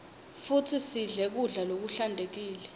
futsi sidle kudla lokuhlantekile